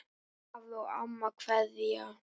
Afi og amma kveðja